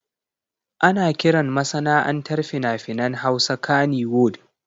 Ana kiran masana'antar fina-finan Hausa Kannywood.